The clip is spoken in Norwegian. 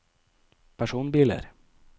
personbiler